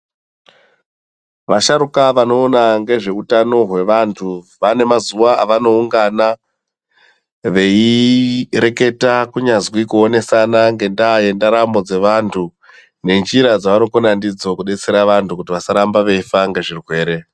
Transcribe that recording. Vasharuka vanoona ngezveutano hwevantu vane mazuva avanoungana veireketa kunyazwi kuonesana ngenda yendaramo dzevantu ngenzira dzevanokona ndidzo kubetsera vantu kuti vasaramaba veifa ngezvirwere .